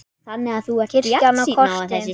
Kirkjan og kortin.